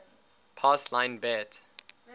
pass line bet